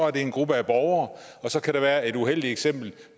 er det en gruppe af borgere og så kan der være et uheldigt eksempel